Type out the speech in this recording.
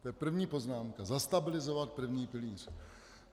To je první poznámka - zastabilizovat první pilíř.